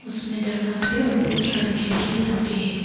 उसमें दरवाजे और बहोत सारे खिड़की बन के हैं।